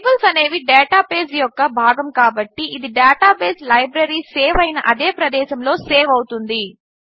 tables అనేవి database యొక్క భాగము కాబట్టి ఇది డేటాబేస్ లైబ్రరీ సేవ్ అయిన అదే ప్రదేశములో సేవ్ అవుతుంది